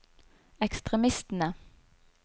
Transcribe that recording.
ekstremistene